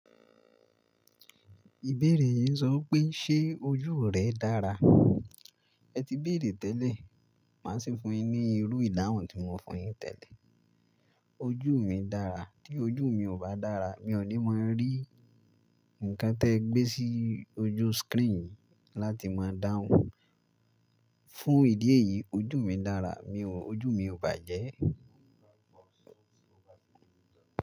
Ìbéèrè yìí sọ pé ṣe ojú rẹ dára? Ẹ ti béèrè tẹ́lẹ̀, màá sì fún yín ní irú ìdáhùn tí mo fún yín tẹ́lẹ̀. Ojú mi dára, tí ojú mi ò bá dára, mi ò ní máa rí nǹkan tí ẹ gbé sí ojú screen láti máa dáhùn. Fún ìdí èyí, ojú mi dára, ojú mi ò bàjẹ́.